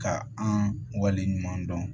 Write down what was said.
Ka an wale ɲuman dɔn